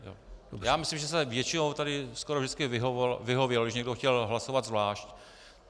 Já myslím, že se většinou tady skoro vždycky vyhovělo, když někdo chtěl hlasovat zvlášť.